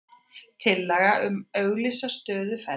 Tillaga um að auglýsa stöðu felld